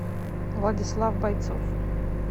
владислав бойцов